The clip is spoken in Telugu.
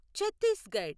చత్తీస్గడ్